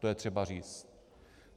To je třeba říct.